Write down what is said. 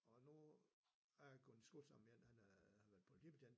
Og nu en jeg har gået i skole sammen med han er har vret politibetjent